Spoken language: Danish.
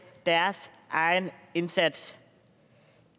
deres egen indsats